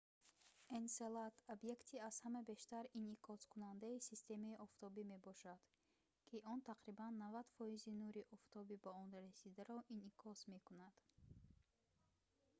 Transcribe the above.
энселад объекти аз ҳама бештар инъикоскунандаи системаи офтобӣ мебошад ки он тақрибан 90 фоизи нури офтоби ба он расидаро инъикос мекунад